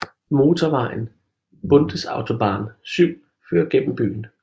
Motorvejen Bundesautobahn 7 fører gennem byen